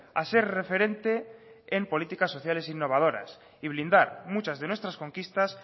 a ser referente en políticas sociales innovadoras y blindar muchas de nuestras conquistas